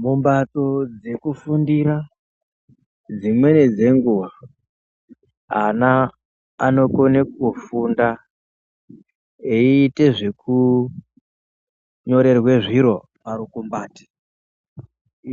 Mumhatso dzekufundira dzimweni dzenguva ana anokone kufunda, eyiite zveku nyorerwe zviro parukumbate,